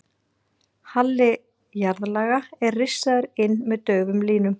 Halli jarðlaga er rissaður inn með daufum línum.